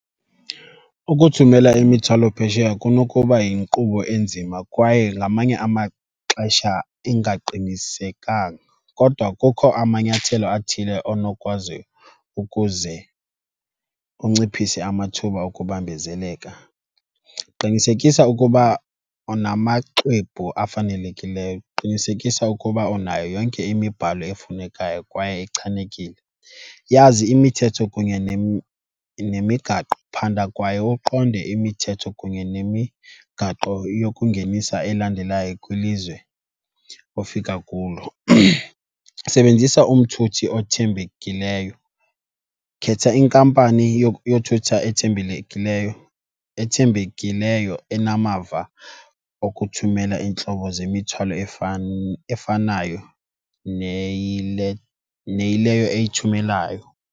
Ukuthumela imithwalo phesheya kunokuba yinkqubo enzima kwaye ngamanye amaxesha ingaqinisekanga kodwa kukho amanyathelo athile onokwazi ukuze unciphise amathuba okubambezeleka. Qinisekisa ukuba unamaxwebhu afanelekileyo, qinisekisa ukuba unayo yonke imibhalo efunekayo kwaye ichanekile. Yazi imithetho kunye nemigaqo, phanda kwaye uqonde imithetho kunye nemigaqo yokungenisa elandelayo kwilizwe ofika kulo. Sebenzisa umthuthi othembekileyo, khetha inkampani yothutha ethembekileyo enamava okuthumela iintlobo zemithwalo efanayo neyile, neyileyo eyithumelayo.